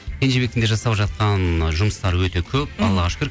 кенжебектің де жасап жатқан ы жұмысары өте көп аллаға шүкір